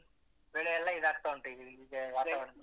ಹೌದು ಬೆಳೆ ಎಲ್ಲ ಇದಾಗ್ತಾ ಉಂಟು ಈ ಈಗಿನ ವಾತಾವರಣಕ್ಕೆ.